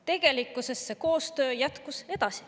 Tegelikkuses see koostöö jätkus.